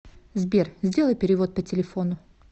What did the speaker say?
сбер сделай перевод по телефону